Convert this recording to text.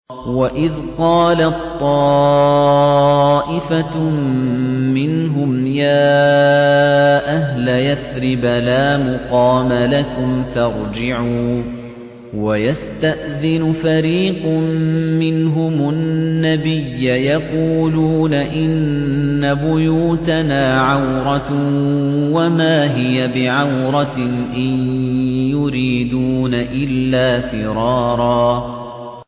وَإِذْ قَالَت طَّائِفَةٌ مِّنْهُمْ يَا أَهْلَ يَثْرِبَ لَا مُقَامَ لَكُمْ فَارْجِعُوا ۚ وَيَسْتَأْذِنُ فَرِيقٌ مِّنْهُمُ النَّبِيَّ يَقُولُونَ إِنَّ بُيُوتَنَا عَوْرَةٌ وَمَا هِيَ بِعَوْرَةٍ ۖ إِن يُرِيدُونَ إِلَّا فِرَارًا